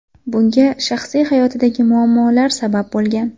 Bunga shaxsiy hayotidagi muammolar sabab bo‘lgan.